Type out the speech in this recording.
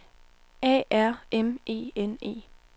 A R M E N E